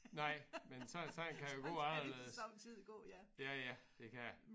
Nej men så sådan kan det gå anderledes. Ja ja det kan det